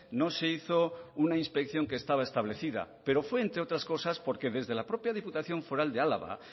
no se hizo una inspección que estaba establecida pero fue entre otras cosas porque desde la propia diputación foral de álava